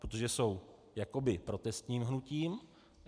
Protože jsou jakoby protestním hnutím.